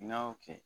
N'a y'o kɛ